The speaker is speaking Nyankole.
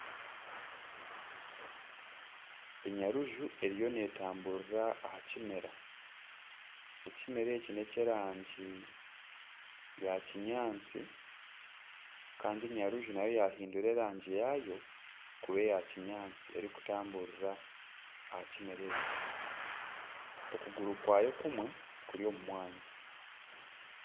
Enyaruju eriyo netamburira aha kimera ekimera eki neky'erangi ya kinyatsi Kandi enyaruju nayo yahindura erangi yaayo kuba eyakinyatsi erikutamburira aha kimera eki okuguru kwayo kumwe kuri omu mwanya